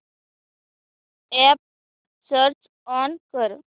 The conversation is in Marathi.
अॅप स्विच ऑन कर